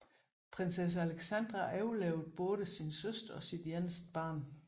Prinsesse Alexandra overlevede både sin søster og sit eneste barn